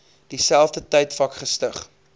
dieselfde tydvak gestig